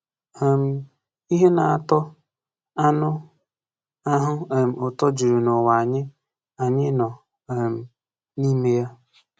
um Ihe na-atọ anụ ahụ um ụtọ juru n’ụwa anyị anyị nọ um n’ime ya.